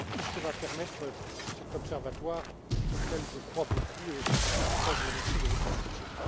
Voilà tout ce que va permettre cet observatoire auquel je crois beaucoup et c'est aussi pourquoi je vous remercie de votre soutien.